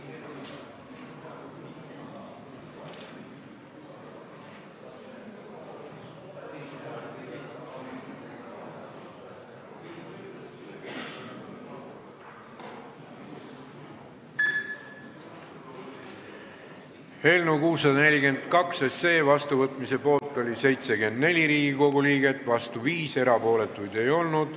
Hääletustulemused Eelnõu 642 seadusena vastuvõtmise poolt oli 74 Riigikogu liiget, vastu 5, erapooletuid ei olnud.